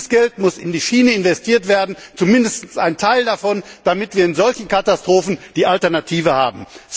Dieses Geld muss in die Schiene investiert werden, zumindest ein Teil davon, damit wir bei solchen Katastrophen eine Alternative haben.